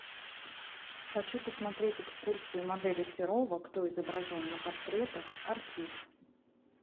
хочу посмотреть экскурсию модели серова кто изображен на портретах архив